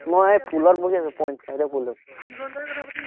মই পুলত বহি আছো, পঞ্চায়তৰ পুলটোত